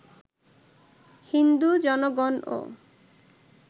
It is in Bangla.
হিন্দু জনগণও